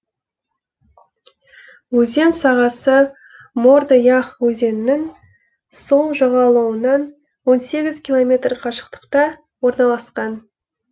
өзен сағасы морды ях өзенінің сол жағалауынан он сегіз километр қашықтықта орналасқан